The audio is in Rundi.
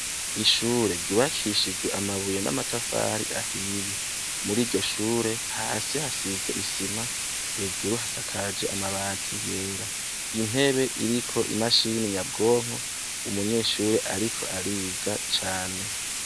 Ishure ryubakishije amabuye namatafari ahiye, muriryo shure hasi hasizwe isima hejuru hasakaje amabati yera intebe iriko i mashine nyabwonko umunyeshure ariko ariga cane.